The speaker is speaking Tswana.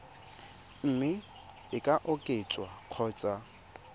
mme e ka oketswa kgotsa